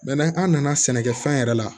an nana sɛnɛkɛfɛn yɛrɛ la